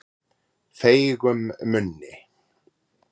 Feigum munni